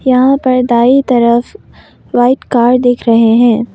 यहां पर दाई तरफ वाइट कार दिख रहे है।